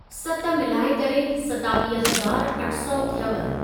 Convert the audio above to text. सत मिलाए करे सतावीह हजार अठ सौ थियव।